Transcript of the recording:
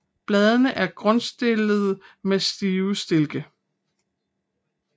Bladene er grundstillede med stive stilke